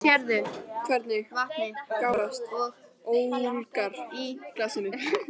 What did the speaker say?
Sérðu hvernig vatnið gárast og ólgar í glasinu?